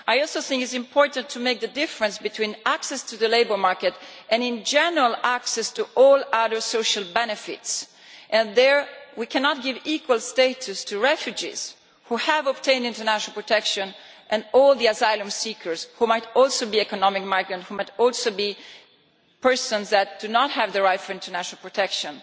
I also think it is important to make the distinction between access to the labour market and general access to other social benefits and here we cannot give equal status to refugees who have obtained international protection and all the asylum seekers who might also be economic migrants and persons not entitled to international protection.